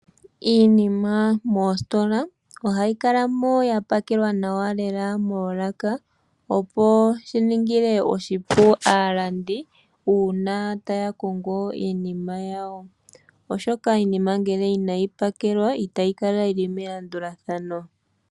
Iinima moositola ohayi kala mo ya pakelwa nawa lela moolaka, opo shi ningile aalandi oshipu uuna taya kongo iinima yawo, oshoka iinima ngele inayi pakelwa itayi kala yi li melandulathano.